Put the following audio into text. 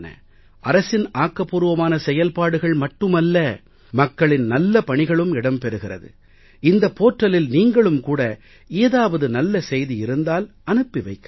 அரசின் ஆக்கபூர்வமான செயல்பாடுகள் மட்டுமல்ல மக்களின் நல்ல பணிகளும் இடம் பெறுகிறது இந்த portalஇல் நீங்களும் கூட ஏதாவது நல்ல செய்தி இருந்தால் அனுப்பி வைக்கலாம்